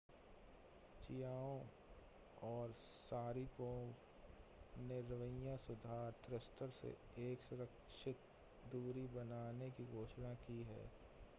Chiao और Sharipov ने रवैया सुधार थ्रस्टर से एक सुरक्षित दूरी बनाने की घोषणा की है